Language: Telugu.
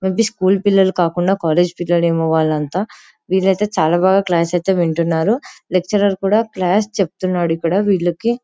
మే బి స్కూల్ పిల్లలు కాకుండా కాలేజీ పిల్లలేమో వాళ్లంతా విల్లైతే చాలా బాగా క్లాస్ ఐతే వింటున్నారు లేక్చులర్ కూడా క్లాస్ చెప్తున్నాడు ఇక్కడ వీళ్ళకి.